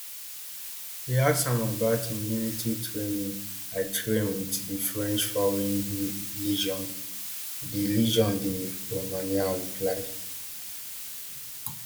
e ask am about im military training i train wit di french foreign legion di legion di romanian reply